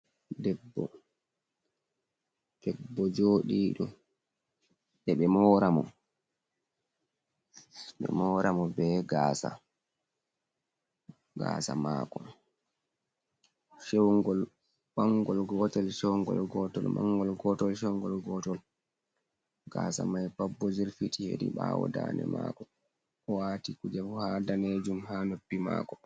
Debbo! Debbo jooɗiɗo ɓeɗo moora mo. Ɓe moramo be gaasa, gaasa mako. Mangol gotol chewngol gotol, mangol gotol chewngol gotol. Gaasa mai pat bo jirfiti hedi ɓawo dande mako. O waati kuje bo, danejum ha noppi mako.